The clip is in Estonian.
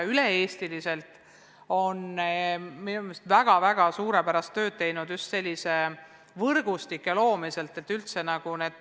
Üle-eestiliselt on minu meelest väga suurepärast tööd tehtud just asjaomase võrgustiku loomisel.